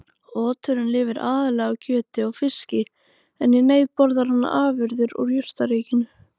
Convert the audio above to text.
Oturinn lifir aðallega á kjöti og fiski en í neyð borðar hann afurðir úr jurtaríkinu.